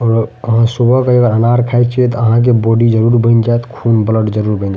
और आहां सुबह के अनार खाई छिये ते आहां के बॉडी जरूर बन जात खून ब्लड जरूर बन जा --